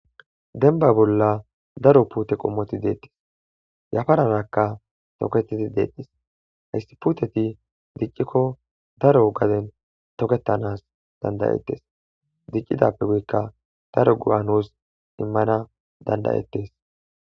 Denba bolla daro puute qommoti deettes yafararakka toketidi deettis hayssi puteti diccikko daro gaden toketanas dandayettes diccidappe guykka daro gu'anos immana dandayettes.